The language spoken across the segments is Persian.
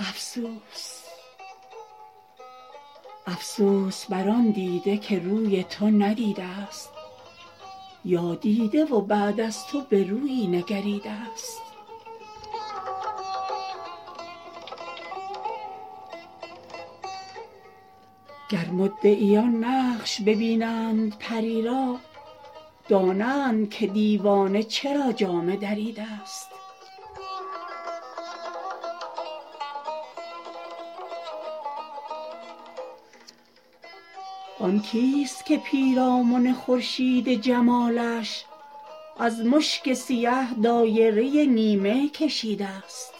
افسوس بر آن دیده که روی تو ندیده ست یا دیده و بعد از تو به رویی نگریده ست گر مدعیان نقش ببینند پری را دانند که دیوانه چرا جامه دریده ست آن کیست که پیرامن خورشید جمالش از مشک سیه دایره نیمه کشیده ست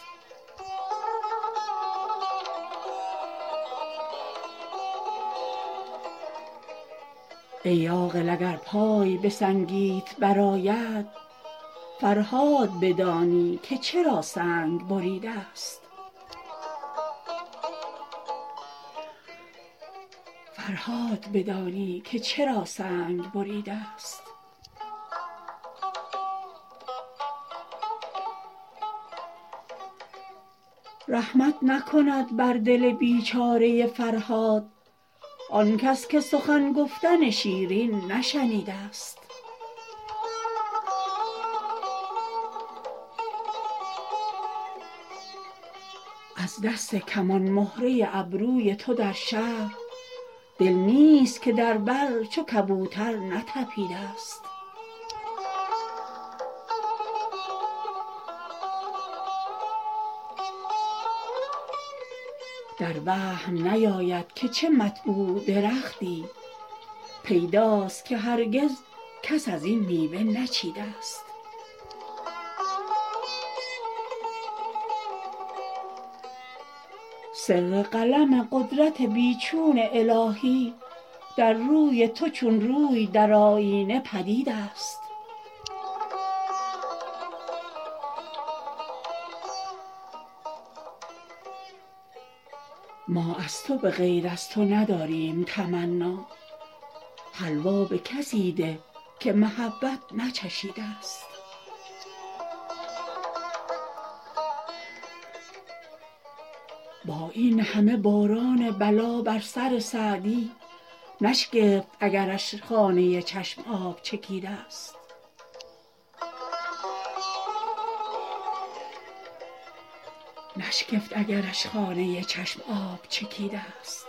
ای عاقل اگر پای به سنگیت برآید فرهاد بدانی که چرا سنگ بریده ست رحمت نکند بر دل بیچاره فرهاد آنکس که سخن گفتن شیرین نشنیده ست از دست کمان مهره ابروی تو در شهر دل نیست که در بر چو کبوتر نتپیده ست در وهم نیاید که چه مطبوع درختی پیداست که هرگز کس از این میوه نچیده ست سر قلم قدرت بی چون الهی در روی تو چون روی در آیینه پدید است ما از تو به غیر از تو نداریم تمنا حلوا به کسی ده که محبت نچشیده ست با این همه باران بلا بر سر سعدی نشگفت اگرش خانه چشم آب چکیده ست